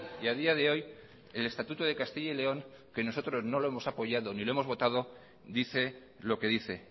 y a día de hoy el estatuto de castilla y león que nosotros no lo hemos apoyado ni lo hemos votado dice lo que dice